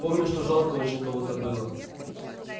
помню что жалко очень кого-то было